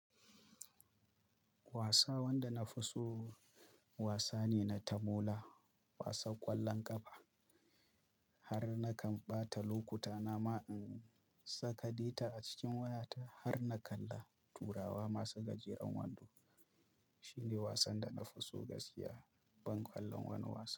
Wasa wanda na fi so wasa ne na tamola, wasan ƙwallon ƙafa. Har na kan ɓata lokuta na ma in saka data a cikin wayata har na kalla turawa masu gajeren wando. Shine wasan da na fi so gaskiya, ban ƙwallon wani wasa.